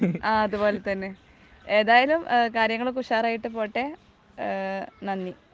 ആ അതുപോലെതന്നെ. ഏതായാലും കാര്യങ്ങളൊക്കെ ഉഷാറായിട്ട് പോകട്ടെ നന്ദി.